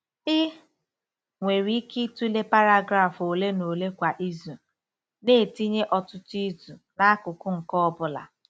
Ị nwere ike ịtụle paragraf ole na ole kwa izu, na-etinye ọtụtụ izu n'akụkụ nke ọ bụla.